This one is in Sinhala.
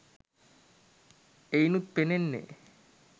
එයිනුත් පෙනෙන්නේ